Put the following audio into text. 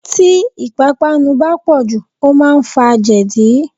Tí ipapanu bá pọ̀jù, ó máa ń fa jẹdi.